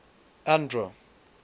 andro